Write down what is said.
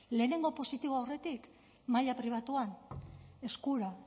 lehenengo positiboa aurretik maila pribatuan eskura